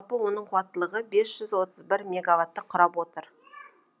жалпы оның қуаттылығы бес жүз отыз бір мегаватты құрап отыр